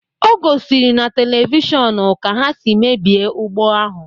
O gỌ sịrị na televishọnu ka ha si mebie ugbo ahụ